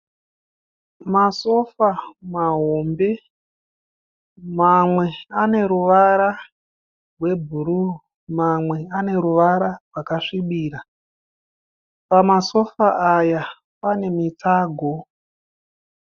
Masofa mahombe, mamwe ane ruvara rwebhuruu mamwe ane ruvara rwakasvibira. Pamasofa aya pane mitsago.